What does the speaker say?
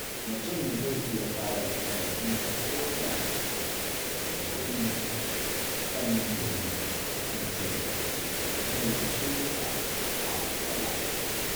Mutum zai iya fara tanadi koda da kuɗi kaɗan domin hakan zai taimake sa a gaba.